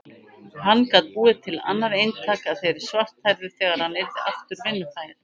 Hann gat búið til annað eintak af þeirri svarthærðu þegar hann yrði aftur vinnufær.